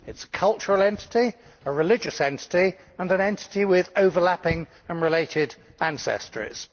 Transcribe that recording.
it is a cultural entity, a religious entity and an entity with overlapping and related ancestries.